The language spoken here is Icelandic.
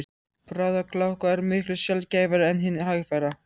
Bráðagláka er miklu sjaldgæfari en hin hægfara.